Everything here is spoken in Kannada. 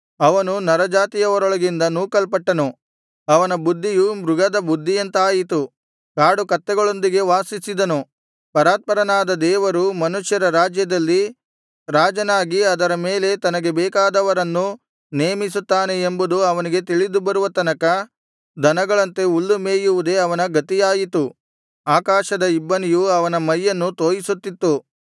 ಅವನು ನರಜಾತಿಯವರೊಳಗಿಂದ ನೂಕಲ್ಪಟ್ಟನು ಅವನ ಬುದ್ಧಿಯು ಮೃಗದ ಬುದ್ಧಿಯಂತಾಯಿತು ಕಾಡು ಕತ್ತೆಗಳೊಂದಿಗೆ ವಾಸಿಸಿದನು ಪರಾತ್ಪರನಾದ ದೇವರು ಮನುಷ್ಯರ ರಾಜ್ಯದಲ್ಲಿ ರಾಜನಾಗಿ ಅದರ ಮೇಲೆ ತನಗೆ ಬೇಕಾದವರನ್ನು ನೇಮಿಸುತ್ತಾನೆ ಎಂಬುದು ಅವನಿಗೆ ತಿಳಿದುಬರುವ ತನಕ ದನಗಳಂತೆ ಹುಲ್ಲು ಮೇಯುವುದೇ ಅವನ ಗತಿಯಾಯಿತು ಆಕಾಶದ ಇಬ್ಬನಿಯು ಅವನ ಮೈಯನ್ನು ತೋಯಿಸುತ್ತಿತ್ತು